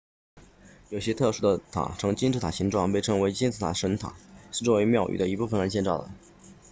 有些特殊的塔呈金字塔形状被称为金字形神塔是作为庙宇的一部分而建造的